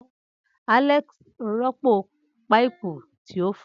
Alex rọpo paipu ti o fọ.